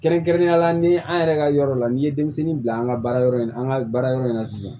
Kɛrɛnkɛrɛnnenya la ni an yɛrɛ ka yɔrɔ la n'i ye denmisɛnnin bila an ka baara yɔrɔ in na an ka baara yɔrɔ in na sisan